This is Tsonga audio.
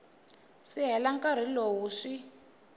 si hela nkarhi lowu swi